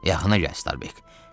Yaxına gəl, Starbek.